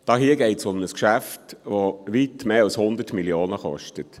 Hier geht es um ein Geschäft, das weit mehr als 100 Mio. Franken kostet.